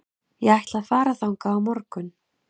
Ég ætla að fara þangað á morgun.